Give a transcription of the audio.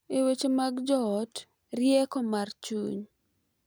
E weche mag joot, rieko mar chuny .